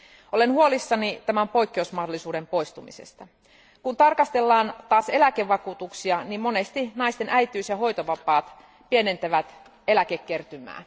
Olen huolissani tämän poikkeusmahdollisuuden poistumisesta. Kun tarkastellaan taas eläkevakuutuksia, niin monesti naisten äitiys ja hoitovapaat pienentävät eläkekertymää.